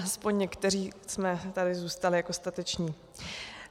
Aspoň někteří jsme tady zůstali jako stateční.